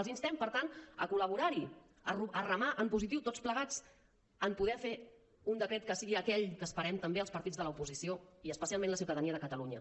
els instem per tant a col·laborar hi a remar en positiu tots plegats per poder un decret que sigui aquell que esperem també els partits de l’oposició i especialment la ciutadania de catalunya